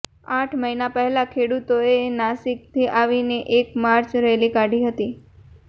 આઠ મહિના પહેલા ખેડૂતોએ નાસિકથી આવી એક માર્ચ રેલી કાઢી હતી